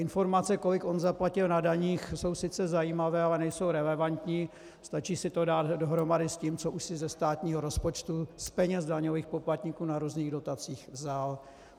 Informace, kolik on zaplatil na daních, jsou sice zajímavé, ale nejsou relevantní, stačí si to dát dohromady s tím, co už si ze státního rozpočtu, z peněz daňových poplatníků na různých dotacích vzal.